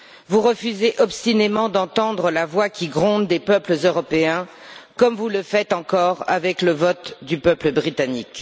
Vous refusez obstinément d'entendre la voix qui gronde des peuples européens, comme vous le faites encore avec le vote du peuple britannique.